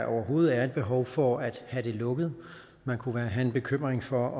overhovedet er et behov for at have det lukket man kunne have en bekymring for